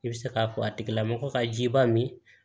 I bɛ se k'a fɔ a tigilamɔgɔ ka jiba min